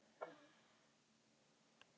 Þessi efni smyrja liðinn og örva brjóskmyndun.